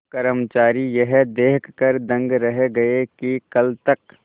कर्मचारी यह देखकर दंग रह गए कि कल तक